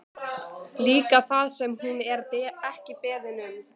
Líka það sem hún er ekki beðin um.